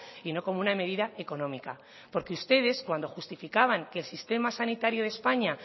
y no como una medida económica porque ustedes cuando justificaban que el sistema sanitario de españa